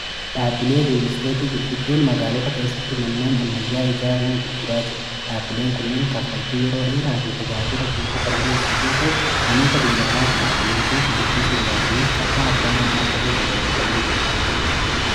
Dhaabbileen riilisteetii gurguddoon magaalota keessatti manneen ammayyaa ijaaruun gurguraa jiru dhaabileen kunneen kafaltii yeroo dheeraa fi tajaajila guutuu kan dhi'eessaiyyoo ta'u namoota biyyaalaa jiraatanii fi biyya keessa jiraataniif carraa abbaa manaa ta'uu babal'isanii jiru.